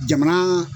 Jamana